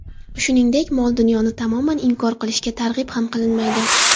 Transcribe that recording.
Shuningdek, mol-dunyoni tamoman inkor qilishga targ‘ib ham qilinmaydi.